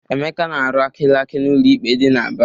Emeka na-arụ akịlakị n'ụlọ ikpe dị n'Aba.